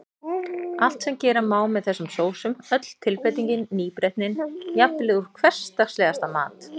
Allt sem gera má með þessum sósum, öll tilbreytingin, nýbreytnin, jafnvel úr hversdagslegasta mat.